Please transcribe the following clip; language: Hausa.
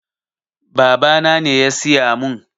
Babana ne ya siya mun